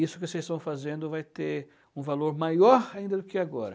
isso que vocês estão fazendo vai ter um valor maior ainda do que agora.